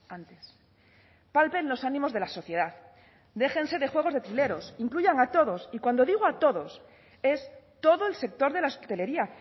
antes palpen los ánimos de la sociedad déjense de juegos de trileros incluyan a todos y cuando digo a todos es todo el sector de la hostelería